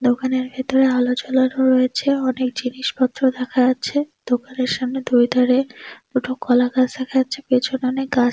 দোকানের ভেতরে আলো জ্বালানো হয়েছে। অনেক জিনিসপত্র দেখা যাচ্ছে দোকানের সামনে দুই ধারে দুটো কলা গাছ রাখা আছে পেছনে অনেক গাছ।